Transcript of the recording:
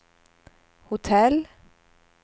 hotell